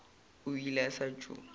o ile a sa tšo